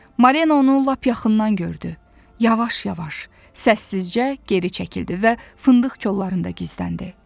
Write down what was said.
Marina onu lap yaxından gördü, yavaş-yavaş, səssizcə geri çəkildi və fındıq kollarında gizləndi.